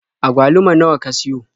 Agwaluma nawa ka siyo?